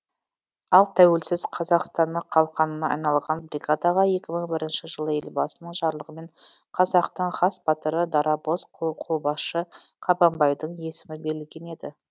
ал тәуелсіз қазақстанның қалқанына айналған бригадаға екі мың бірінші жылы елбасының жарлығымен қазақтың хас батыры дарабоз қолбасшы қабанбайдың есімі берілген еді